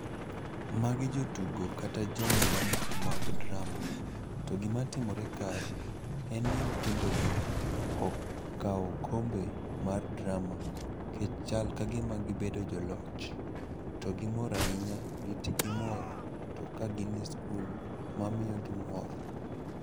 Magi jotugo kata jomiel mag drama. To gimatimore kae en ni nyithindo gi okao okombe mar drama. Kech chal kagima gibedo joloch, to gimor ahinya, gite gimor to ka gin e skul ma miyogi mor.